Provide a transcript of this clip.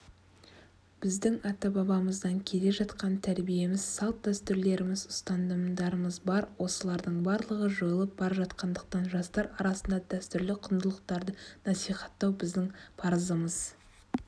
біздің ата-бабамыздан келе жатқан тәрбиеміз салт-дәстүрлеріміз ұстанымдарымыз бар осылардың барлығы жойылып бара жатқандықтан жастар арасында дәстүрлі құндылықтарды насихаттау біздің парызымыз